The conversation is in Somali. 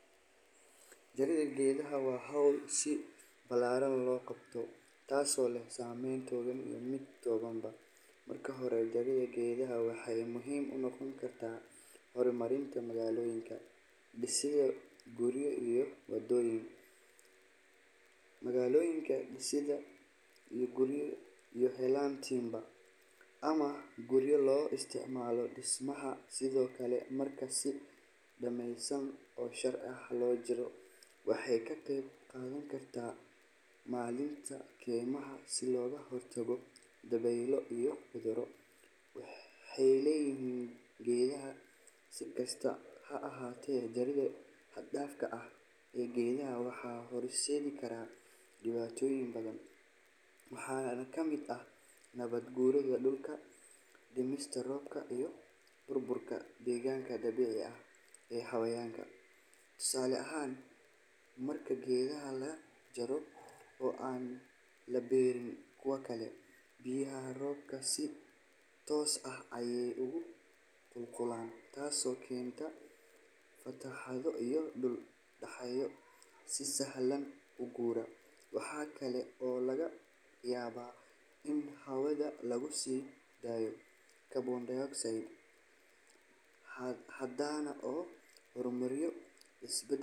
Jaridda geedaha waa hawl si ballaaran loo qabto taasoo leh saameyn togan iyo mid tabanba. Marka hore, jaridda geedaha waxay muhiim u noqon kartaa horumarinta magaalooyinka, dhisidda guryo iyo waddooyin, iyo helidda timber ama qoryo loo isticmaalo dhismaha. Sidoo kale, marka si nidaamsan oo sharci ah loo jaro, waxay ka qayb qaadan kartaa maaraynta kaymaha si looga hortago dabeylo iyo cudurro waxyeelleeya geedaha. Si kastaba ha ahaatee, jaridda xad-dhaafka ah ee geedaha waxay horseedi kartaa dhibaatooyin badan. Waxaa ka mid ah nabaad guurka dhulka, dhimista roobka, iyo burburka deegaanka dabiiciga ah ee xayawaanka. Tusaale ahaan, marka geedaha la jaro oo aan la beerin kuwo kale, biyaha roobka si toos ah ayay u qulqulayaan taasoo keenta fatahaado iyo dhul-dhagaxyo si sahlan u guura. Waxa kale oo laga yaabaa in hawada lagu sii daayo carbon dioxide badan oo horumariya isbedelka.